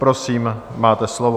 Prosím máte slovo.